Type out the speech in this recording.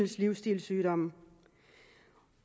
livsstilssygdom